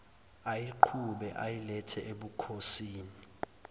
ayiqhube ayilethe ebukhosini